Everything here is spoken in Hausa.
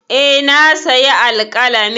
E, na sayi alƙalamin.